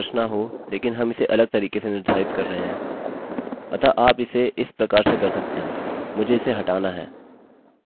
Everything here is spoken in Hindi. अतः आप इसे इस प्रकार से कर सकते हैं मुझे इसे हटाना है मैं हमेशा यह इस तरह से करना पसंद करता हूँ